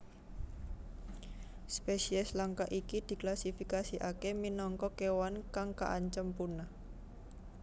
Spesies langka iki diklasifikasèkaké minangka kéwan kang kaancem punah